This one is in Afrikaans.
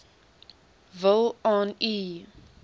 wil aan u